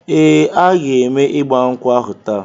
Ee, a ga eme igba nkwu ahu taa